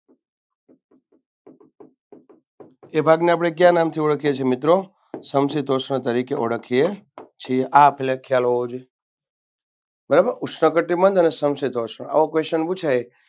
એ ભાગને આપણે કયા નામથી ઓળખીએ છીએ મિત્રો સમક્ષીતોષ્ણ તરીકે ઓળખીએ છીએ. આ પેલા એક ખ્યાલ હોવો જોઈએ બરાબર ઉષ્ણકટિબંધ અને સમક્ષીતોષ્ણ આવો કોઈ Question પૂછાય.